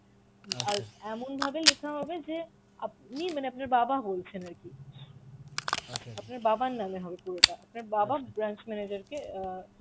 আর এমন ভাবে লেখা হবে যে আপনি মানে আপনার বাবা বলছেন আর কি আপনার বাবার নামে হবে পুরোটা, আপনার বাবা branch manager কে অ্যাঁ